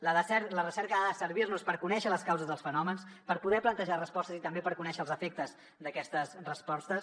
la recerca ha de servir nos per conèixer les causes dels fenòmens per poder plantejar respostes i també per conèixer els efectes d’aquestes respostes